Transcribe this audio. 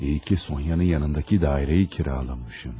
Yaxşı ki, Sonyanın yanındakı mənzili kirayələmişəm.